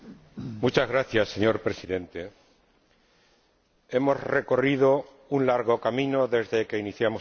Señor Presidente, hemos recorrido un largo camino desde que iniciamos este expediente.